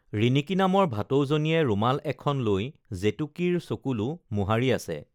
ৰিণি‍কী নামৰ ভাটৌজনীয়ে ৰুমাল এখন লৈ জেতুকীৰ চকুলো মোহাৰি আছে